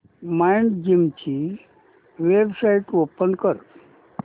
Mindgym ची website open कर